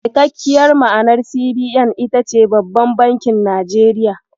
Cikakkiyar ma'anar CBN ita ce "Babban Bankin Najeriya".